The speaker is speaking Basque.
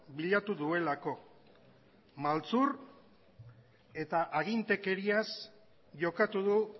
bilatu duelako maltzur eta agintekeriaz jokatu du